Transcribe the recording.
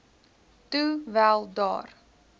toe wel daar